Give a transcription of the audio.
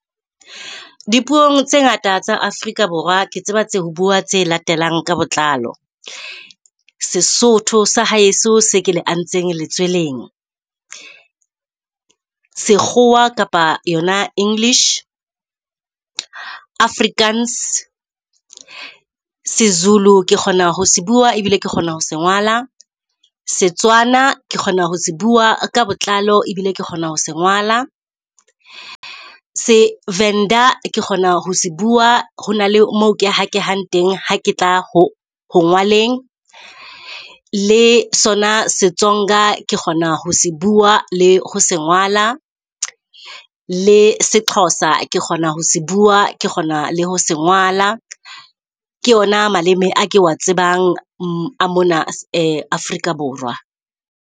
Dipuong tse ngata tsa Afrika Borwa ke tseba ho bua tse latelang ka botlalo Sesotho sa hae seo ke le antseng le tseleng, sekgowa kapa yona English, Afrikaans, se-Zulu ke kgona ho se bua ebile ke kgona ho se ngola. SeTswana ke kgona ho se bua ka botlalo ebile ke kgona ho se ngola, se-Venda kgona ho se bua hona moo ke hakehang teng ha ke tla ho ho ngwaleng. Le sona se-Tsonga ke kgona ho se bua le ho se ngola, le se-Xhosa, kgona ho se bua ke kgona le ho se ngola ke yona maleme a ke wa tsebang a mona Afrika Borwa.